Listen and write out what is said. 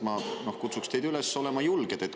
Ma kutsuks teid üles olema julge.